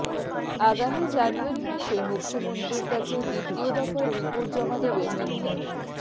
আগামী জানুয়ারি মাসে মুখ্যমন্ত্রীর কাছে দ্বিতীয় দফার রিপোর্ট জমা দেবে মেন্টর